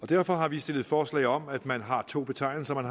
derfor har vi stillet forslag om at man har to betegnelser at